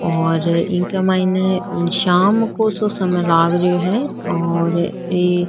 और इक मायने शाम को सो समय लाग रियो है और एक --